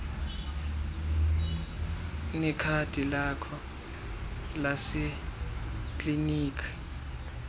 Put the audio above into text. nekhadi lakho lasekliniki